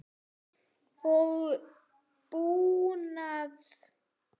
og búnað.